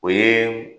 O ye